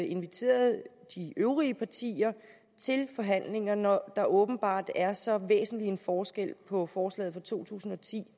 inviterede de øvrige partier til forhandlinger når der åbenbart er så væsentlig en forskel på forslaget fra to tusind og ti